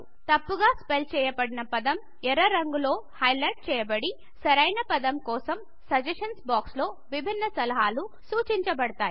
తప్పుగా స్పెల్ చేయబడిన పదం ఎర్ర రంగు లో హైలైట్ చేయబడి సరైన పదం కోసం సజెషన్స్ బాక్స్ లో విభిన్న సలహాలు సుచిన్చాబడుతాయి